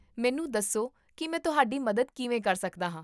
ਮੈਨੂੰ ਦੱਸੋ ਕੀ ਮੈਂ ਤੁਹਾਡੀ ਮਦਦ ਕਿਵੇਂ ਕਰ ਸਕਦਾ ਹਾਂ?